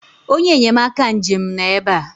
onye enyemaka njem nọ ebe a